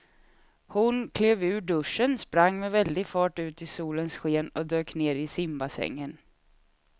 Hon klev ur duschen, sprang med väldig fart ut i solens sken och dök ner i simbassängen.